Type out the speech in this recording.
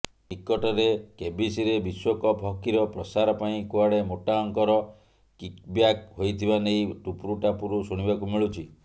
ନିକଟରେ କେବିସିରେ ବିଶ୍ୱକପ୍ ହକିର ପ୍ରସାର ପାଇଁ କୁଆଡ଼େ ମୋଟାଅଙ୍କର କିକବ୍ୟାକ ହୋଇଥିବା ନେଇ ଟୁପୁରୁଟାପୁରୁ ଶୁଣିବାକୁ ମିଳୁଛି